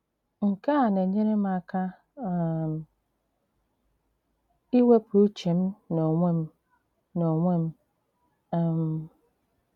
Nke à na-enyèrè m àka um ìwèpụ ùchè m n'ònwè m n'ònwè m. um